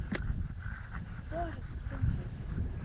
Hvorugt fundið.